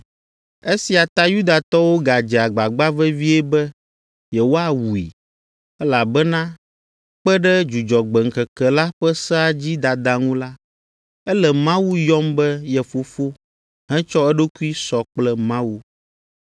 Esia ta Yudatɔwo gadze agbagba vevie be yewoawui, elabena kpe ɖe Dzudzɔgbe ŋkeke la ƒe sea dzi dada ŋu la, ele Mawu yɔm be ye Fofo hetsɔ eɖokui sɔ kple Mawu.